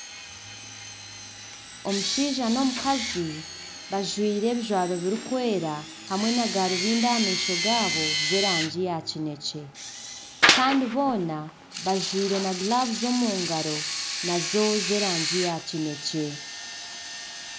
Omushaija n'omukazi bajwire ebijwaro birikwera hamwe na garubindi aha maisho gaabo z'erangi ya kinekye kandi boona bajwire na giravuzi omungaro nazo z'erangi ya kinekye.